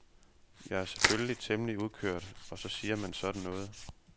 Jeg er selvfølgelig temmelig udkørt og så siger man sådan noget.